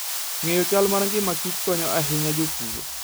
Ng'eyo chal mar ngimakichego konyo ahinya jopur.